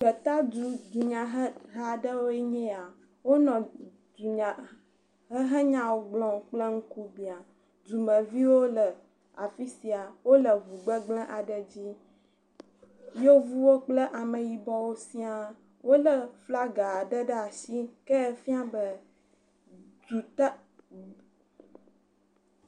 Gbetadu dunyaheha aɖewoe nye ya. Wonɔ dunyahehenyawo gblɔm kple ŋkubia. Dumeviwo le afi sia. Wole ŋu gbegble aɖe dzi. Yevuwo kple ameyibɔwo sia wole flaga aɖe ɖe asi. Ke efia be duta du…